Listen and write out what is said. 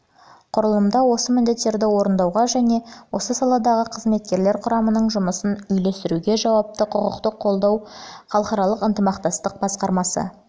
құрылымында осы міндеттерді орындауға және осы салалардағы қызметкерлер құрамының жұмысын үйлестіруге жауапты құқықтық қолдау мен халықаралық ынтымақтастық басқармасы